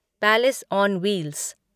palace on wheels